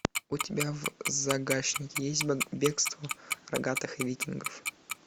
у тебя в загашнике есть бегство рогатых викингов